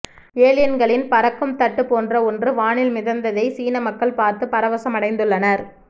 ஏலியன்களின் பறக்கும் தட்டு போன்ற ஒன்று வானில் மிதந்ததை சீன மக்கள் பார்த்து பரவசம் அடைந்துள்ளனர்